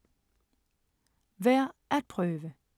Værd at prøve